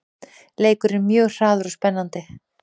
Leikurinn er mjög hraður og spennandi